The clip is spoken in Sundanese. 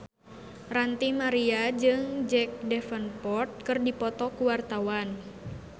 Ranty Maria jeung Jack Davenport keur dipoto ku wartawan